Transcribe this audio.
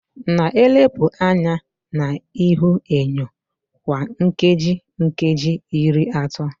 Na-elepụ anya na ihuenyo kwa nkeji nkeji iri atọ